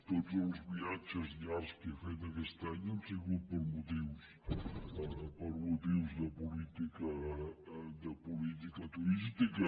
tots els viatges llargs que he fet aquest any han sigut per motius de política turística